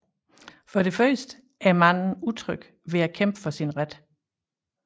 For det første er manden utryg ved at kæmpe for sin ret